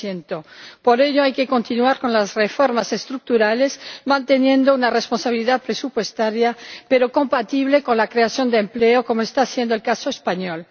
2 Por ello, hay que continuar con las reformas estructurales, manteniendo una responsabilidad presupuestaria pero compatible con la creación de empleo, como está siendo el caso español.